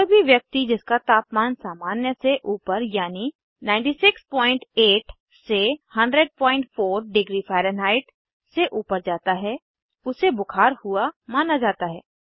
कोई भी व्यक्ति जिसका तापमान सामान्य से ऊपर यानि 968 से 1004º फारेनहाइट से ऊपर जाता है उसे बुखार हुआ माना जाता है